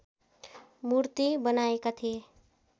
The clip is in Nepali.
मूर्ती बनाएका थिए